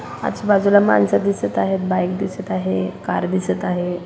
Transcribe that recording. आजूबाजूला माणसं दिसत आहेत बाइक दिसत आहे कार दिसत आहे.